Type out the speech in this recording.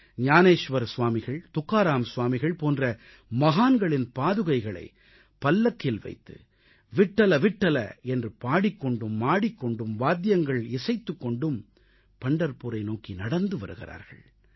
ஞானேஷ்வர் ஸ்வாமிகள் துக்காராம் ஸ்வாமிகள் போன்ற மகான்களின் பாதுகைகளைப் பல்லக்கில் வைத்து விட்டல்விட்டல் என்று பாடிக் கொண்டும் ஆடிக்கொண்டும் வாத்தியங்கள் இசைத்துக் கொண்டும் பண்டர்புரை நோக்கி நடந்து வருகிறார்கள்